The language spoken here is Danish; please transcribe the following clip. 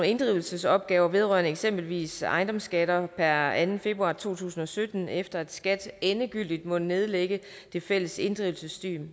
inddrivelsesopgaver vedrørende eksempelvis ejendomsskatter per anden februar to tusind og sytten efter at skat endegyldigt måtte nedlægge det fælles inddrivelsessystem